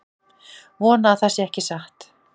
Vona að það sé ekki satt